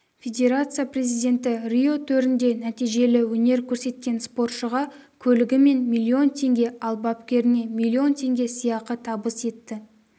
федерация президенті рио төрінде нәтижелі өнер көрсеткен спортшыға көлігі мен миллион теңге ал бапкеріне млн теңге сыйақы табыс етті